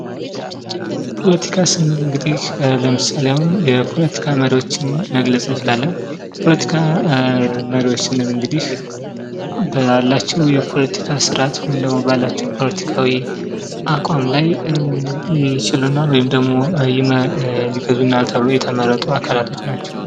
ፖለቲካ ስንል እንግዲህ ለምሳሌ አሁን የፖለቲካ መሪዎችን መግለፅ እንችላለን። ፖለቲካ መሪዎች ስንል እንግዲህ በአላቸው የፖለቲካ ስርዓት ወይም ደግሞ በአላቸው ፖለቲካዊ አቋም ላይ ይችሉናል ወይም ደግሞ የገዙናል ተብሎ የተመረጡ አካላት ናቸው።